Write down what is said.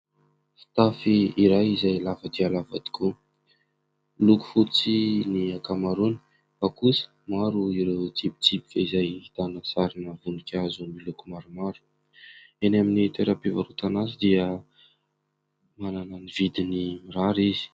Fitafy iray izay lava dia lava tokoa, loko fotsy ny ankamaroany ao kosa maro ireo tsipitsipika izay ahitana sarina voninkazo miloko maromaro eny amin'ny toeram-pivarotana azy dia manana ny vidiny mirary izy.